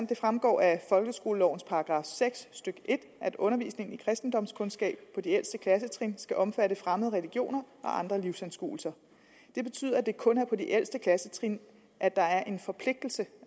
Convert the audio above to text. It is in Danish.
det fremgår af folkeskolelovens § seks stykke en at undervisningen i kristendomskundskab på de ældste klassetrin skal omfatte fremmede religioner og andre livsanskuelser det betyder at det kun er på de ældste klassetrin at der er en forpligtelse